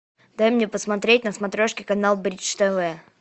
дай мне посмотреть на смотрешке канал бридж тв